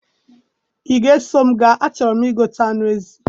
I ga eso mụ ga? A chọrọ mụ igote anụ ezi